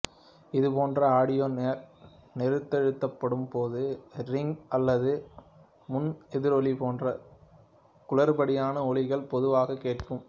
இது போன்ற ஆடியோ நெரித்தழுத்தப்படும் போது ரிங்கிங் அல்லது முன்எதிரொலி போன்ற குளறுபடியான ஒலிகள் பொதுவாக கேட்கும்